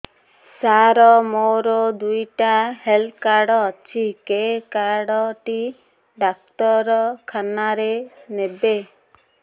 ସାର ମୋର ଦିଇଟା health card ଅଛି କେ କାର୍ଡ ଟି ଡାକ୍ତରଖାନା ରେ ନେବେ